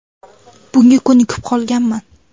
Bunga ko‘nikib qolganman.